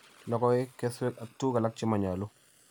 logoek, kesweek ak tuguuk alak che manyolu